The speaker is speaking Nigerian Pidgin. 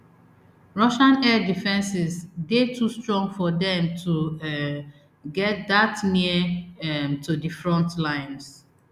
russian air defences dey too strong for dem to um get dat near um to di front lines